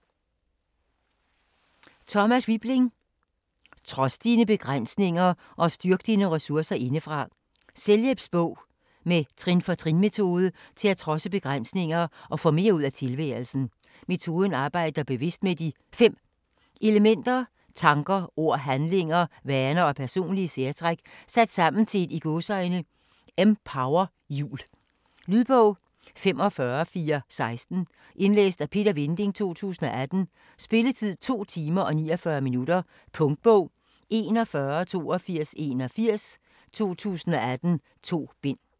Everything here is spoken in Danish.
Wibling, Thomas: Trods dine begrænsninger og styrk dine ressourcer indefra Selvhjælpsbog med trin-for-trin metode til at trodse begrænsninger og få mere ud af tilværelsen. Metoden arbejder bevidst med de 5 elementer: tanker, ord, handlinger, vaner og personlige særtræk sat sammen i et "empowerhjul". Lydbog 45416 Indlæst af Peter Vinding, 2018. Spilletid: 2 timer, 49 minutter. Punktbog 418281 2018. 2 bind.